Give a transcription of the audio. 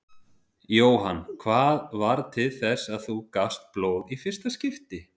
Jóhann: Hvað varð til þess að þú gafst blóð í fyrsta skipti?